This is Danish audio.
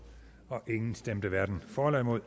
stemte atten hverken for eller imod